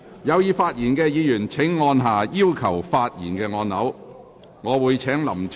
有意發言的議員請按下"要求發言"按鈕。